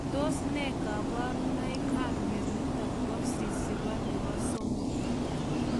Tos nee kabarunoik ap mionitok po sisipo nepo somok ?